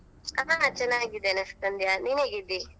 ಹಾ ಚನ್ನಗಿದ್ದೇನೆ ಸಂಧ್ಯಾ ನೀನೆಗಿದ್ದಿ?